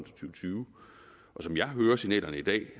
tyve og som jeg hører signalerne i dag